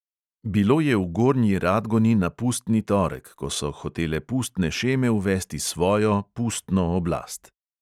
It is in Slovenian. Bilo je v gornji radgoni na pustni torek, ko so hotele pustne šeme uvesti svojo, pustno oblast.